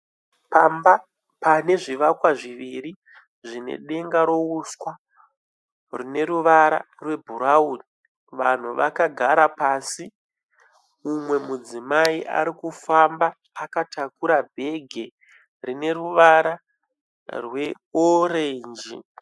Pamba pane zvivakwa zviviri zvine denga reuswa rine ruvara rwe bhurauni. Vanhu vakagara pasi , mumwe mudzimai ariku famba akatakura bhegi rine ruvara rwe orenji.